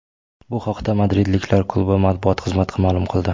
Bu haqda madridliklar klubi matbuot xizmati ma’lum qildi .